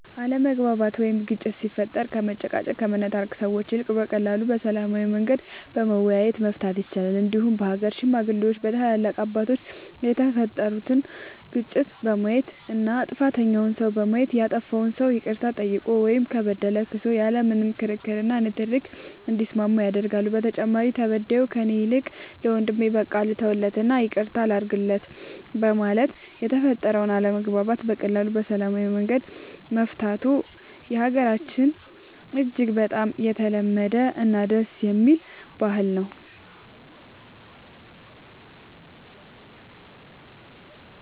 አለመግባባት ወይም ግጭት ሲፈጠር ከመጨቃጨቅ ከመነታረክ ሰዎች ይልቅ በቀላሉ በሰላማዊ መንገድ በመወያየት መፍታት ይቻላል እንዲሁም በሀገር ሽማግሌዎች በታላላቅ አባቶች የተፈጠሩትን ግጭቶች በማየት እና ጥፋተኛውን ሰው በማየት ያጠፋው ሰው ይቅርታ ጠይቆ ወይም ከበደለ ክሶ ያለ ምንም ክርክር እና ንትርክ እንዲስማማ ያደርጋሉ በተጨማሪም ተበዳዩ ከእኔ ይልቅ ለወንድሜ በቃ ልተውለት እና ይቅርታ ላድርግለት በማለት የተፈጠረውን አለመግባባት በቀላሉ በሰላማዊ መንገድ መፍታቱ በሀገራችን እጅግ በጣም የተለመደ እና ደስ የሚል ባህል ነው።